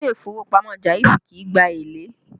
Ilé ìfowópamọ́ Jaiz kì í gba èlé